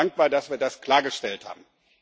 Ich bin dankbar, dass wir das klargestellt haben.